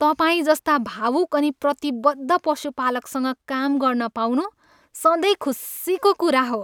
तपाईँजस्ता भावुक अनि प्रतिबद्ध पशुपालकसँग काम गर्न पाउनु सधैँ खुसीको कुरा हो।